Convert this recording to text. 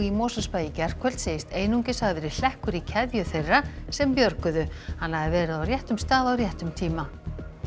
í Mosfellsbæ í gærkvöld segist einungis hafa verið hlekkur í keðju þeirra sem björguðu hann hafi verið á réttum stað á réttum tíma